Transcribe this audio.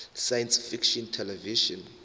science fiction television